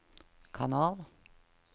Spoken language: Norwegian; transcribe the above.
kanal